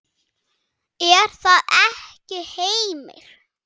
Er það ekki Heimir?